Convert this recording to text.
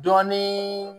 Dɔnni